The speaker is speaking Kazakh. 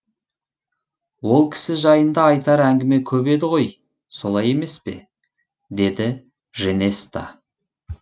ол кісі жайында айтар әңгіме көп еді ғой солай емес пе деді женеста